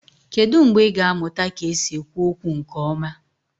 Kedu mgbe ị ga-amụta ka esi ekwu okwu nke ọma?